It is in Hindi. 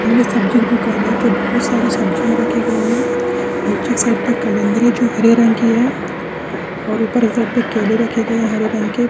और ये सब्जी की दुकान है जो बहुत सारी सब्जियां रखी गई है नीचे के साइड पे कलंद्रे जो हरे रंग की है और ऊपर की साइड पे केले रखे गए है हरे रंग के --